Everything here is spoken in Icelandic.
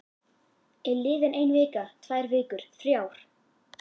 Er liðin ein vika, tvær vikur, þrjár?